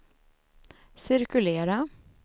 cirkulera